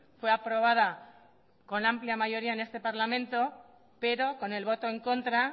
fue aprobada con amplia mayoría en este parlamento pero con el voto en contra